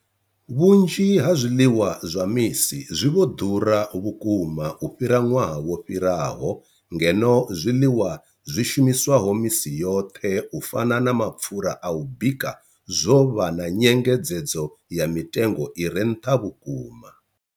Vhunzhi ha zwiḽiwa zwa misi zwi vho ḓura vhukuma u fhira ṅwaha wo fhiraho, ngeno zwiḽiwa zwi shumiswaho misi yoṱhe u fana na mapfhura a u bika zwo vha na nyengedzedzo ya mitengo i re nṱha vhukuma.